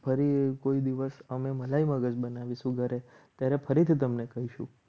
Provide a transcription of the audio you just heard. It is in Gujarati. ફરી કોઈ દિવસ અમે મલાઈ વગર બનાવીશું ઘરે ત્યારે ફરીથી તમને કહીશું.